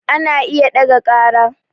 Ana iya ɗaga ƙara